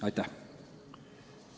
Aitäh!